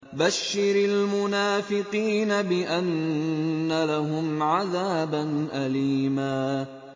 بَشِّرِ الْمُنَافِقِينَ بِأَنَّ لَهُمْ عَذَابًا أَلِيمًا